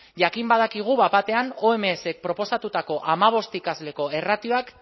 jakin badakigu bat batean omsk proposatutako hamabost ikasleko erratioak